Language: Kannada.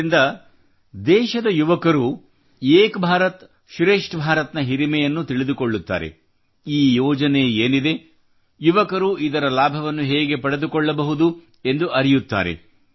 ಇದರಿಂದ ದೇಶದ ಯುವಕರು ಏಕ್ ಭಾರತ್ ಶ್ರೇಷ್ಠ ಭಾರತ್ನ ಹಿರಿಮೆಯನ್ನು ತಿಳಿದುಕೊಳ್ಳುತ್ತಾರೆ ಈ ಯೋಜನೆ ಏನಿದೆ ಯುವಕರು ಇದರ ಲಾಭವನ್ನು ಹೇಗೆ ಪಡೆದುಕೊಳ್ಳಬಹುದು ಎಂದು ಅರಿಯುತ್ತಾರೆ